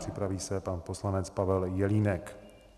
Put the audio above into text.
Připraví se pan poslanec Pavel Jelínek.